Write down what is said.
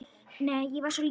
Nei, ég var svo lítil.